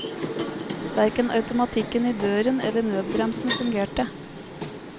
Hverken automatikken i døren eller nødbremsen fungerte.